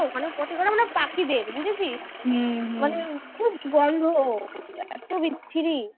পটি করে মানে পাখিদের বুঝেছিস মানে খুব গন্ধ এ ত বিচ্ছিরি